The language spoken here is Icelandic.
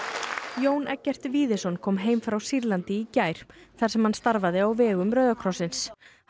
Jón Eggert Víðisson kom heim frá Sýrlandi í gær þar sem hann starfaði á vegum Rauða krossins hann